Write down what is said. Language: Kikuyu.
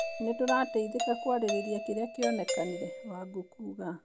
Nĩtũrateithĩka kwarĩrĩrĩa kĩrĩa kĩonekanĩre" Wangũkuuga